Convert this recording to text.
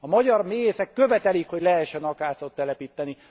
A magyar méhészek követelik, hogy lehessen akácot telepíteni.